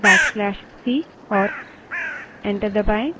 back slash c command enter करें और enter दबायें